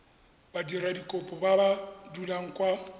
badiradikopo ba ba dulang kwa